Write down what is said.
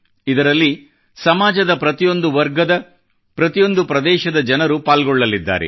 ಇದರಲ್ಲಿ ಸಮಾಜದ ಪ್ರತಿಯೊಂದು ವರ್ಗದ ಪ್ರತಿಯೊಂದು ಪ್ರದೇಶದ ಜನರು ಪಾಲ್ಗೊಳ್ಳಲಿದ್ದಾರೆ